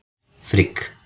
Frigg